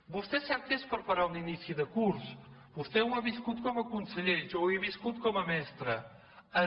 vostè sap què és preparar un inici de curs vostè ho ha viscut com a conseller jo ho he viscut com a mestra